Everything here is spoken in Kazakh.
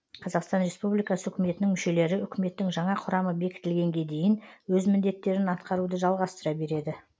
қазақстан республикасы үкіметінің мүшелері үкіметтің жаңа құрамы бекітілгенге дейін өз міндеттерін атқаруды жалғастыра береді